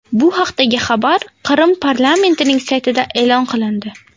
Bu haqdagi xabar Qrim parlamentining saytida e’lon qilindi .